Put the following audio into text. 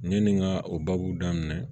Yanni n ka o baabu daminɛ